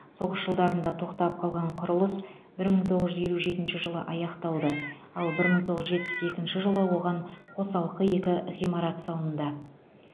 соғыс жылдарында тоқтап қалған құрылыс бір мың тоғыз жүз елу жетінші жылы аяқталды ал бір мың тоғыз жүз жетпіс екінші жылы оған қосалқы екі ғимарат салынды